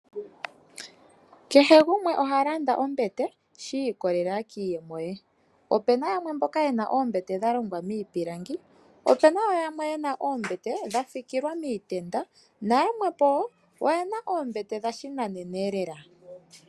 Kehe gumwe oha landa ombete shi ikolelela kiiyemo ye . Opena yamwe mboka yena oombete dha longwa miipilangi. opena woo yamwe yena oombete dha fikilwa miitenda na yamwepo oyena oombete dha shinanena elela.